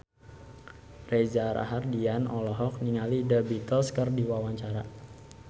Reza Rahardian olohok ningali The Beatles keur diwawancara